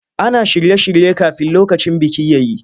Ana shirye-shirye kafin lokacin biki ya yi.